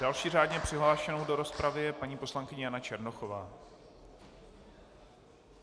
Další řádně přihlášenou do rozpravy je paní poslankyně Jana Černochová.